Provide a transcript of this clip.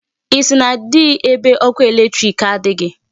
Isi na-adị ebe ọkụ electric adịghị.